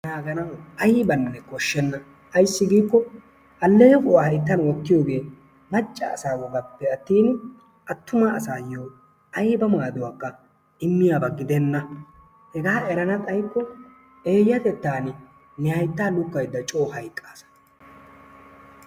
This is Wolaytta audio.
Hagan ayibanne koshshenna. Ayissi giikko alleequwa hayittan wottiyogee macca asaa wogappe attin attuma asaayyo ayiba maaduwakka immiyaba gidenna. hegaa erana xayiyaba gidikko eeyyatettaan ne hayttaa lukkaydda coo hayqqaasa.